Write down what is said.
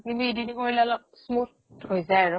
কিন্তু সেই editing কৰিলে smooth হৈ যায় আৰু